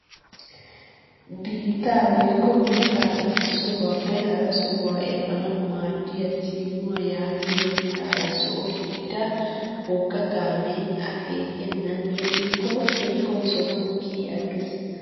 Biittaa woykko mittaa issi sohuwaappe hara sohuwaa epanawu maaddiyaa siinuwaa yaagiyoo meraara zo"o gidida wogga kaamee akeekennanyedhdhikko shemppoy sohuwaan kiyi aggees!